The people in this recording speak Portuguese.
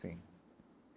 Sim.